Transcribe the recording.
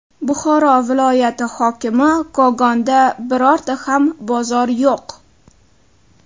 Buxoro viloyati hokimi: Kogonda birorta ham bozor yo‘q.